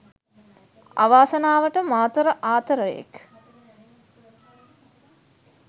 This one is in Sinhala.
අවාසනාවට මාතර ආතරයෙක්